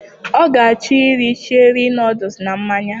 Ọ ga achọ iri cherie nọdles na mmanya